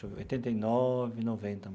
Oitenta e nove, noventa.